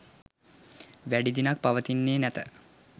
වැඩි දිනක් පවතින්නේ නැත.